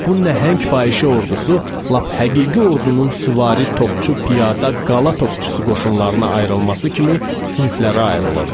Bu nəhəng fahişə ordusu lap həqiqi ordunun süvari, topçu, piyada, qala topçusu qoşunlarına ayrılması kimi siniflərə ayrılırdı.